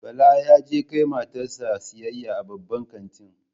Bala ya je kai matar sa siyayya a Babban kanti